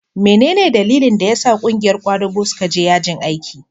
mene ne dalilin da ya sa ƙungiyar kwadago suka je yajin aiki?